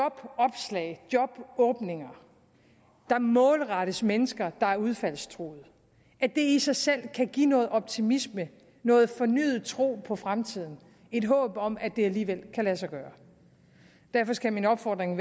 at jobåbninger der målrettes mennesker der er udfaldstruede i sig selv kan give noget optimisme noget fornyet tro på fremtiden et håb om at det alligevel kan lade sig gøre derfor skal min opfordring